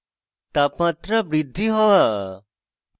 তাপমাত্রা বৃদ্ধি হওয়া